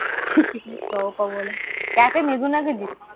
chicken চও পাবনা। Cafe Mezzuna গেছিস?